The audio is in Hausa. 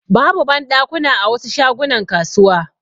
Babu banɗakuna a wasu shagunan kasuwa.